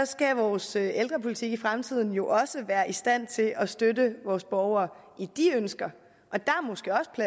skal vores ældrepolitik i fremtiden jo også være i stand til at støtte vores borgere i de ønsker